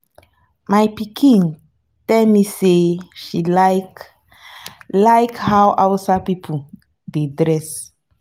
my pikin tell me say she like like how hausa people dey dress